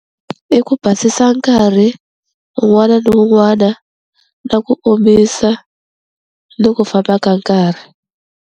I ku basisa nkarhi un'wana na un'wana na ku omisa ni ku famba ka nkarhi.